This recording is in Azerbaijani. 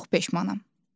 Çox peşmanam.